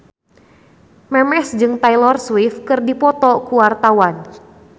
Memes jeung Taylor Swift keur dipoto ku wartawan